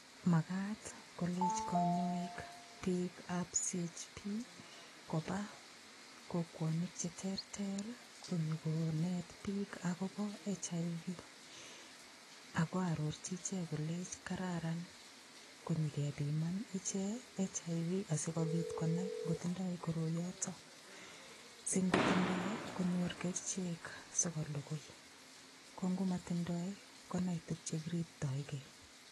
Magat kolenchi konyoik koba kokwotinik che terter konyikonet biik agobo HIV ak ko arorchi ichek kolenchi kararan kot ingepiman ichek HIV asikonai ngo tindoi koroyoto singotindoi konyor kerichek sikolugui, ko ngo motindoi konai ele kiriptoige.